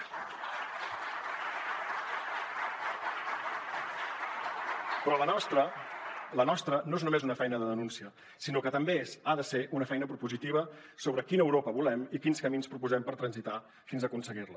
però la nostra la nostra no és només una feina de denúncia sinó que també ha de ser una feina propositiva sobre quina europa volem i quins camins proposem transitar fins a aconseguir la